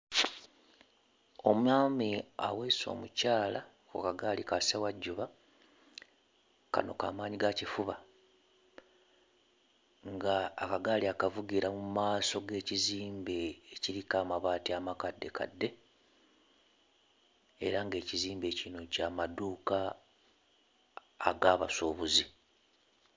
Omwami aweese omukyala ku kagaali kassewajjuba, kano kamaanyi gaakifuba. Ng'akagaali akavugira mu maaso g'ekizimbe ekiriko amabaati amakaddekadde era ng'ekizimbe kino ky'amaduuka ag'abasuubuzi.